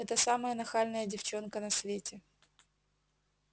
это самая нахальная девчонка на свете